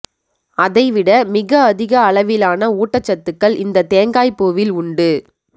அதைவிட மிக அதிக அளவிலான ஊட்டச்சத்துக்கள் இந்த தேங்காய் பூவில் உண்டு